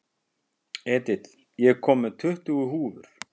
Edith, ég kom með tuttugu húfur!